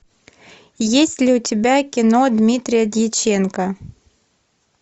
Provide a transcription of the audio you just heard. есть ли у тебя кино дмитрия дьяченко